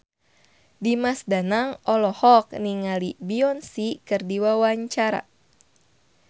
Dimas Danang olohok ningali Beyonce keur diwawancara